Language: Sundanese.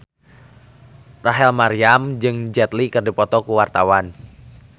Rachel Maryam jeung Jet Li keur dipoto ku wartawan